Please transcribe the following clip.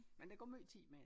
Men der går måj tid med det